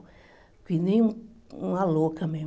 Fiquei nem uma louca mesmo.